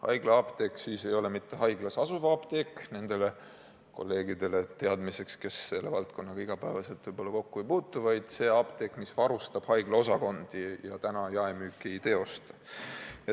Haiglaapteek ei ole mitte haiglas asuv apteek – ütlen seda teadmiseks nendele kolleegidele, kes selle valdkonnaga iga päev kokku ei puutu –, vaid apteek, mis varustab haigla osakondi ja jaemüüki praegu ei teosta.